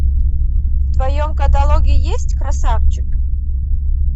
в твоем каталоге есть красавчик